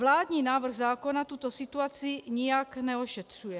Vládní návrh zákona tuto situaci nijak neošetřuje.